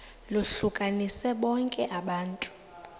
lohlukanise bonke abantu